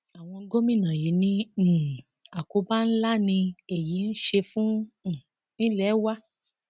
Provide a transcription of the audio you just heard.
àwọn gómìnà yìí ní um àkóbá ńlá ni èyí ń ṣe fún um ilé wa